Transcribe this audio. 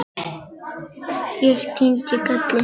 Ég kyngi galli.